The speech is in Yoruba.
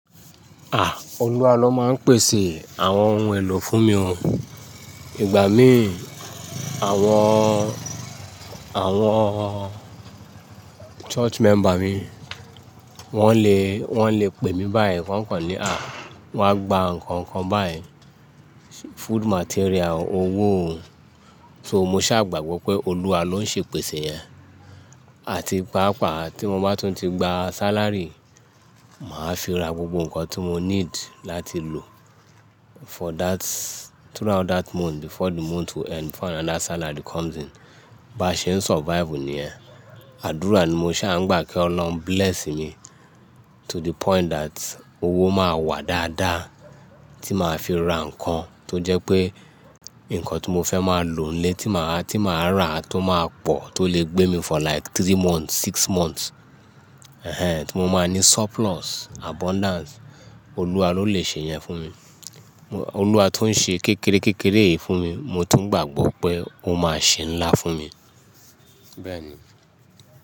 Olúwa ló máa ń pèsè àwọn ohun èlò fún mi o. Ìgbà mí, àwọn, àwọn church member mi, wọ́n le, wọ́n le pè mí báyìí kọ̀ọ̀kan ní à, wọ́n á gba ǹkan kọ̀ọ̀kan báyìí, food material, owó o. So mo ṣàgbàgbọ́ pé Olúwa ló ń ṣe pèsè yẹn. Àti pàápàá tí mo bá tún ti gba salary, màá fi ra gbogbo ǹkan tí mo need láti lò for that, throughout that month before the month will end before another salary comes in. Ba ṣe ń survive níyẹn. Àdúrà ni mo ṣà ń gbà kí Ọlọ́run bless mi to the point that owó máa wà dáadáa tí màá fi ra ǹkan tó jẹ́ pé ǹkan tí mo fẹ́ máa lò ń lé tí màá, tí màá rà tó máa pọ̀ tó lè gbé mi for like three months, six months. Ẹ̀hẹn, tí mo máa ní surplus, abundance, Olúwa ló lè ṣe yẹn fún mi. Olúwa tó ń ṣe kékeré kékeré yìí fún mi, mo tún gbàgbọ́ pé ó máa ṣe ńlá fún mi. Bẹ́ẹ̀ ni.